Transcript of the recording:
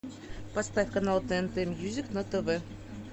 поставь канал тнт мьюзик на тв